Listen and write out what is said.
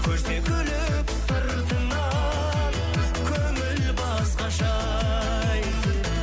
күлсе күліп сыртыңнан көңіл басқаша ай